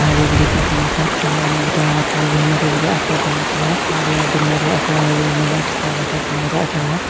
अच्छा लग रहा है वाइट कलर का अच्छा लग रहा है।